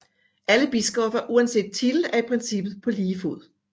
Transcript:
Alle biskopper uanset titel er i princippet på lige fod